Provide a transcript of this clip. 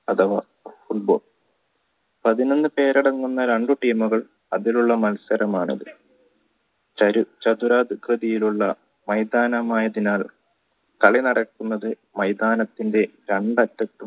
അഥവാ football പതിനൊന്ന് പേരടങ്ങുന്ന രണ്ടു team മുകൾ അവരുള്ള മത്സരമാണ് ചതുരഗൃതിയിലുള്ള മൈതാനമായതിനാൽ കളിനടക്കുന്നത് മൈതാനത്തിൻടെ